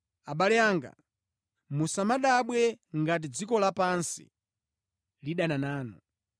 Abale anga, musadabwe ngati dziko lapansi lidana nanu.